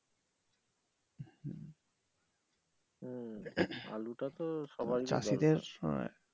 হম আলুটাতো সবাই ভালোবাসে।